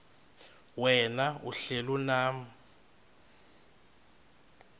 wena uhlel unam